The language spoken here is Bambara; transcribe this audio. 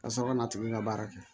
Ka sɔrɔ ka na tuguni ka baara kɛ